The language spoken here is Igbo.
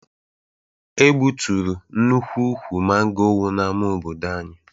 E gbuturu nnukwu ukwu mango wu n'ama obodo anyị.